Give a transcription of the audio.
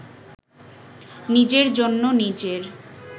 নিজের জন্য নিজের